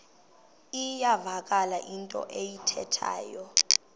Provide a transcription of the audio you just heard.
iyavakala into ayithethayo